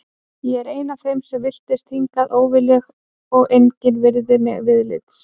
Ég er ein af þeim sem villtist hingað óviljug og engin virðir mig viðlits.